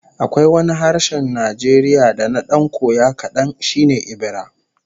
Akwai wani harshen Najeriya da na dan koya kadan, shi ne Ebira